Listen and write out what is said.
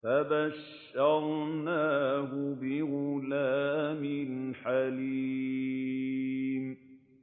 فَبَشَّرْنَاهُ بِغُلَامٍ حَلِيمٍ